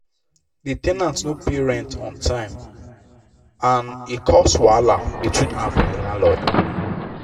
the ten ant no pay rent on time and e cause wahala between am and the landlord.